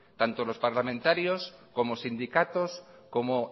tanto los parlamentarios como sindicatos como